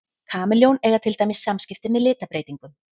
Kameljón eiga til dæmis samskipti með litabreytingum.